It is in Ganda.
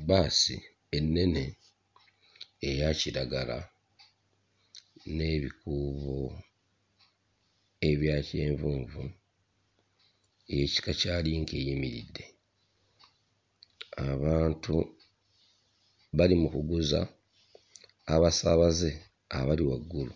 Bbaasi ennene eya kiragala n'ebikuubo ebya kyenvunvu ey'ekika kya Link eyimiridde, abantu bali mukuguza abasaabaze abali waggulu,